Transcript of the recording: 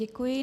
Děkuji.